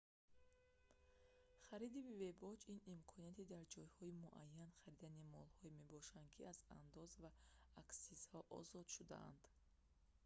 хариди бебоҷ ин имконияти дар ҷойҳои муайян харидани молҳое мебошад ки аз андоз ва аксизҳо озод шудаанд